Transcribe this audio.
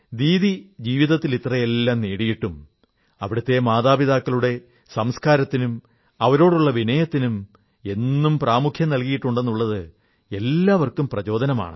ദീദി ജീവിതത്തിൽ ഇത്രയെല്ലാം നേടിയിട്ടും അവിടത്തെ മാതാപിതാക്കളുടെ സംസ്കാരത്തിനും അവരോടുള്ള വിനയത്തിനും എന്നും പ്രാമുഖ്യം നല്കിയിട്ടുണ്ടെന്നത് എല്ലാവർക്കും പ്രചോദനമാണ്